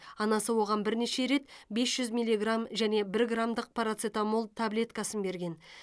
анасы оған бірнеше рет бес жүз миллиграмм және бір граммдық парацетамол таблеткасын берген